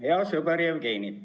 Hea sõber Jevgeni!